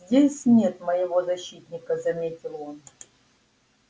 здесь нет моего защитника заметил он